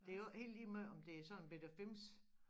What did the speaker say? Det jo ikke helt ligemeget om det er sådan en bette fims